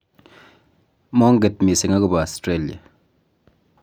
monget mising' akobo Australia